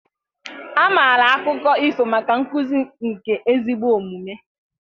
A maara akụkọ ifo maka nkuzi nke ezigbo omume